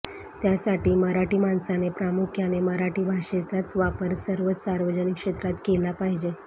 त्यासाठी मराठी माणसाने प्रामुख्याने मराठी भाषेचाच वापर सर्वच सार्वजनिक क्षेत्रांत केला पाहिजे